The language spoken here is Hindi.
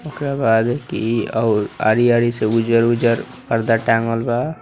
इकरा बाद की हरी हरी सब उजर उजर पर्दा टांगलबा।